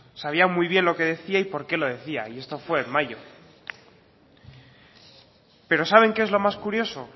sabía muy bien lo que decía y por qué lo decía y esto fue en mayo pero saben que es lo más curioso